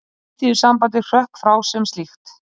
Alþýðusambandið hrökk frá sem slíkt